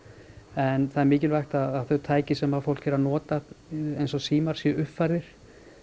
en það er mikilvægt að þau tæki sem fólk er að nota eins og símar séu uppfærðir